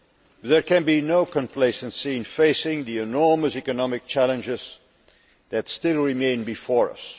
But, there can be no complacency in facing the enormous economic challenges that still remain before us.